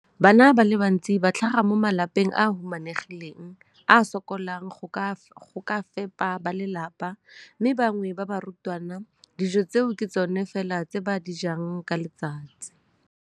Bana ba le bantsi ba tlhaga mo malapeng a a humanegileng a a sokolang go ka fepa ba lelapa mme ba bangwe ba barutwana, dijo tseo ke tsona fela tse ba di jang ka letsatsi.